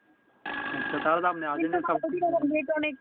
তা হলে আজি